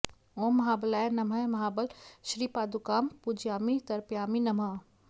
ॐ महाबलाय नमः महाबल श्रीपादुकां पूजयामि तर्पयामि नमः